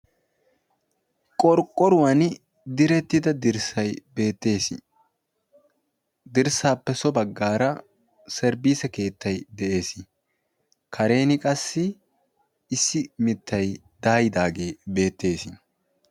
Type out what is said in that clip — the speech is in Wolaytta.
qorqqoruwan direttida dirssai beettees dirssaappe so baggaara seribiise keettai de7ees karen qassi issi mittai daayidaagee beettees